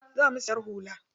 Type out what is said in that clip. Za mu siyar da hula.